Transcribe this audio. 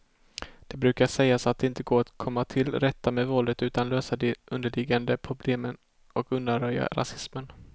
Det brukar sägas att det inte går att komma till rätta med våldet utan att lösa de underliggande problemen och undanröja rasismen.